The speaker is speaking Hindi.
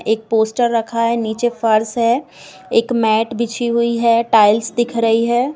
एक पोस्टर रखा है | नीचे फर्श है | एक मेैट बिछी हुई है | टाइल्स दिख रही है।